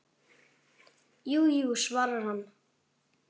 Jú, jú, svarar hann.